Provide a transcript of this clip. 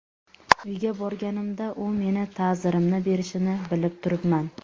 Uyga borganimda u meni ta’zirimni berishini bilib turibman.